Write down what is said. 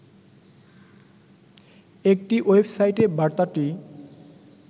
একটি ওয়েবসাইটে বার্তাটি